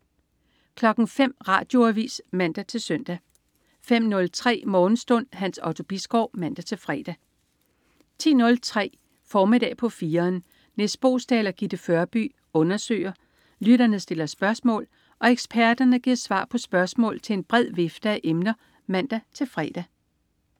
05.00 Radioavis (man-søn) 05.03 Morgenstund. Hans Otto Bisgaard (man-fre) 10.03 Formiddag på 4'eren. Nis Boesdal og Gitte Førby undersøger, lytterne stiller spørgsmål og eksperterne giver svar på spørgsmål til en bred vifte af emner (man-fre)